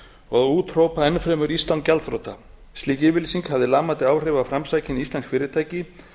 og úthrópa enn fremur ísland gjaldþrota slík yfirlýsing hafði lamandi áhrif á framsækin íslensk fyrirtæki